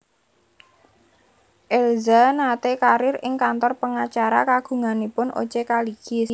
Elza nate karier ing kantor pengacara kagunganipun O C Kaligis